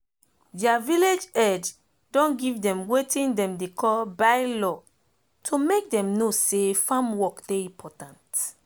deir village head don give dem wetin dem dey call bye law to make dem know say farm work dey important